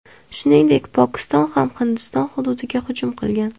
Shuningdek, Pokiston ham Hindiston hududiga hujum qilgan.